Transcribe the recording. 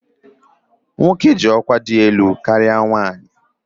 Nwoke ji ọkwá dị elu karịa nwanyị.